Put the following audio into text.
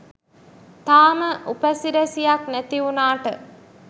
තාම උපසිරැසියක් නැතිවුනාට